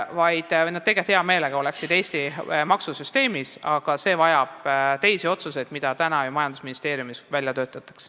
Nad oleksid tegelikult hea meelega Eesti maksusüsteemis, aga see vajab teisi otsuseid, mida juba majandusministeeriumis välja töötatakse.